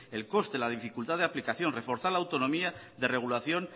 el coste la dificultad de aplicación reforzar la autonomía de regulación